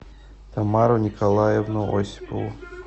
тамару николаевну осипову